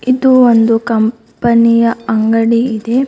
ಇದು ಒಂದು ಕಂಪನಿಯ ಅಂಗಡಿ ಇದೆ.